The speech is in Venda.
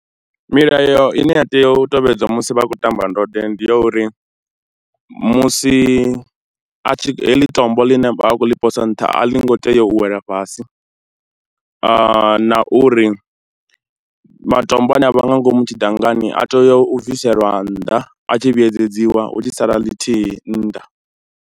Milayo ine ya tea u tevhedzwa musi vha tshi khou tamba ndode ndi ya uri musi a tshi, heḽi tombo ḽine vha vha khou ḽi posa nṱha a ḽi ngo tea u wela fhasi na uri matombo ane a vha nga ngomu tshidangani a tea u bviselwa nnḓa a tshi vhuedzedziwa hu tshi sala ḽithihi nnḓa.